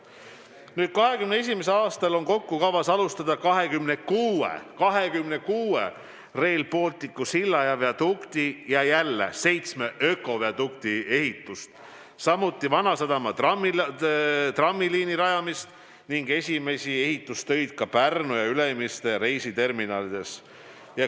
Nüüd, 2021. aastal on kokku kavas alustada 26 Rail Balticu silla ja viadukti ja jälle seitsme ökodukti ehitust, samuti Vanasadama trammiliini rajamist ning esimesi ehitustöid ka Pärnu ja Ülemiste reisiterminalis.